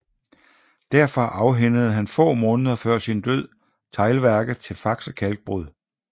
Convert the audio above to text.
Derfor afhændede han få måneder før sin død teglværket til Faxe Kalkbrud